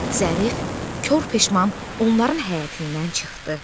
Zərif kor peşman onların həyətindən çıxdı.